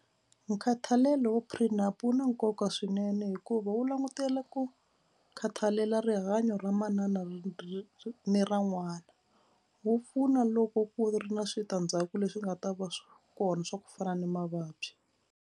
Nkhathalelo wa wu na nkoka swinene hikuva wu langutele ku khathalela rihanyo ra manana ni ra n'wana. Wu pfuna loko ku ri na switandzhaku leswi nga ta va swi kona swa ku fana na mavabyi.